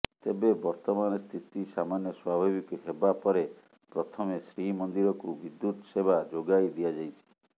ତେବେ ବର୍ତ୍ତମାନ ସ୍ଥିତି ସାମାନ୍ୟ ସ୍ୱାଭାବିକ ହେବା ପରେ ପ୍ରଥମେ ଶ୍ରୀମନ୍ଦିରକୁ ବିଦ୍ୟୁତ ସେବା ଯୋଗାଇ ଦିଆଯାଇଛି